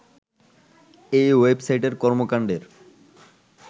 এই ওয়েবসাইটের কর্মকাণ্ডের